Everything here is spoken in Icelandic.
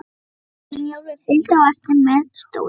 Brynjólfur fylgdi á eftir með stólinn.